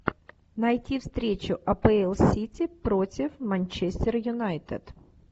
найти встречу апл сити против манчестер юнайтед